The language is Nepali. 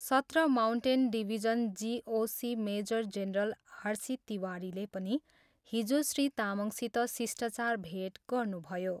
सत्र mountain division GOC major general R C तिवारीले पनि हिजो श्री तामङसित शिष्टाचार भेट गर्नुभयो।